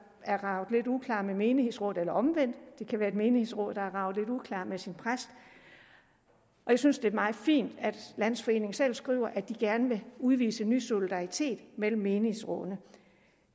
er raget lidt uklar med menighedsrådet eller omvendt det kan være et menighedsråd der er raget lidt uklart med sin præst jeg synes det er meget fint at landsforeningen selv skriver at de gerne vil udvise ny solidaritet mellem menighedsrådene